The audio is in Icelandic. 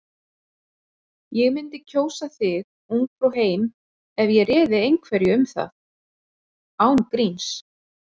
Ég mundi kjósa þig Ungfrú heim ef ég réði einhverju um það. án gríns.